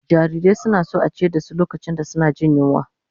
Jarirai suna son a ciyar da su lokacin da suke jin yunwa